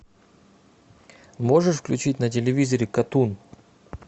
можешь включить на телевизоре катун